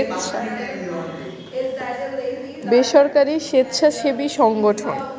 বেসরকারি স্বেচ্ছাসেবী সংগঠন